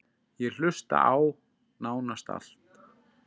Ég hlusta á: nánast allt